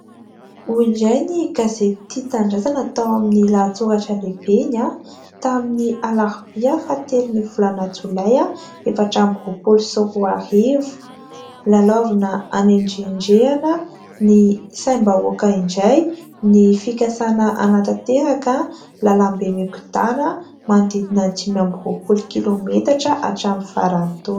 Hoy indray ny gazety tia tanindrazana tao amin'ny lahatsoratra lehibe iny a ! Tamin'ny alarbia fahatelon'ny volana jolay efatra amby roapolo sy roa arivo : "Lalaovina handrendrehana ny saim-bahoaka indray ny fikasana hanatanteraka lalam-be mikiodana manodidinan'ny dimy amby roapolo kilômetatra hatramin'ny faran'ny taona".